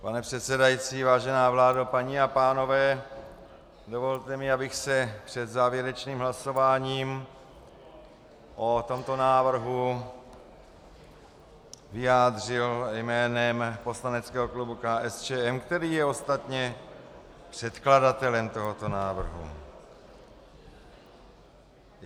Pane předsedající, vážená vládo, paní a pánové, dovolte mi, abych se před závěrečným hlasováním o tomto návrhu vyjádřil jménem poslaneckého klubu KSČM, který je ostatně předkladatelem tohoto návrhu.